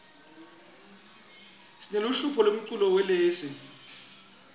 sineluhlobo lemculo welezi